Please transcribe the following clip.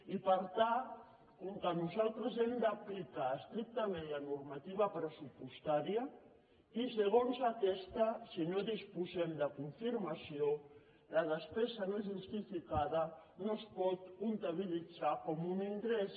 i per tant com que nosaltres hem d’aplicar estrictament la normativa pressupostària i segons aquesta si no disposem de confirmació la despesa no justificada no es pot comptabilitzar com un ingrés